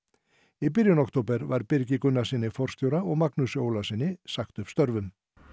í byrjun október var Birgi Gunanrssyni forstjóra og Magnúsi Ólasyni sagt upp störfum